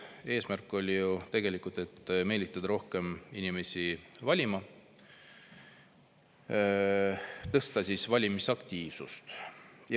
Eesmärk oli ju tegelikult meelitada rohkem inimesi valima, tõsta valimisaktiivsust.